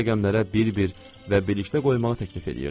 O rəqəmlərə bir-bir və birlikdə qoymağı təklif eləyirdi.